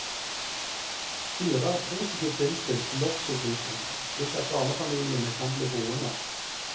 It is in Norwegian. Styret er positivt innstilt til loftsutbygging, slik at barnefamiliene kan bli boende.